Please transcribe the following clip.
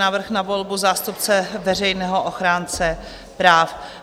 Návrh na volbu zástupce veřejného ochránce práv